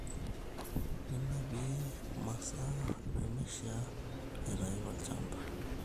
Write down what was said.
Ninapie mm`asaa nemeishiaa aitayu tolchamba